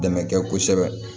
Dɛmɛ kɛ kosɛbɛ